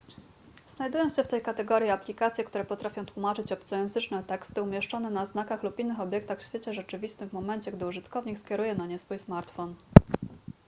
znajdują się w tej kategorii aplikacje które potrafią tłumaczyć obcojęzyczne teksty umieszczone na znakach lub innych obiektach w świecie rzeczywistym w momencie gdy użytkownik skieruje na nie swój smartfon